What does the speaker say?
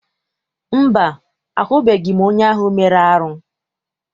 Mba, ahụbeghị m onye ahụ mere arụ.